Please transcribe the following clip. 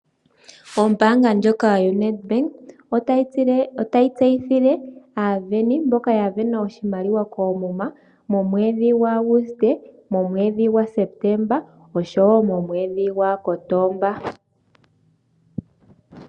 Ombanga ndjoka yoNed Bank otayi tseyithile aaveni mboka ya vena oshimaliwa koomuma momwedhi gwaAguste, momwedhi gwaSeptember oshowo momwedhi gwaKotomba.